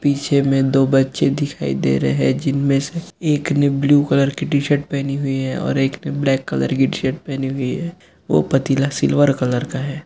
पीछे में दो बच्चे दिखाई दे रहे है जिनमे से एक ने ब्लू कलर की टी शर्ट पहनी हुई है और एक ने ब्लैक कलर की टी शर्ट पहनी हुई है वो पतीला सिल्वर कलर का है।